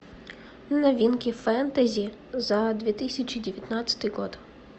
новинки фэнтези за две тысячи девятнадцатый год